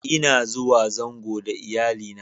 N'na zuwa zango da Iyalli na.